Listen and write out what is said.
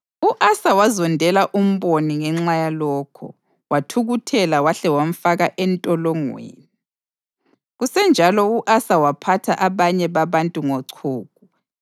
U-Asa wazondela umboni ngenxa yalokho; wathukuthela wahle wamfaka entolongweni. Kusenjalo u-Asa waphatha abanye babantu ngochuku.